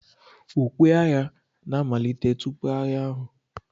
Ukwe agha na-amalite tupu agha ahụ.